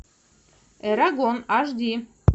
эрагон аш ди